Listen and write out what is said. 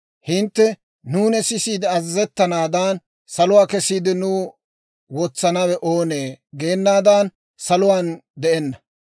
Hintte, ‹Nuuni sisiide azazettanaadan, saluwaa kesiide nuw wotsanawe oonee?› geenaadan saluwaan de'enna.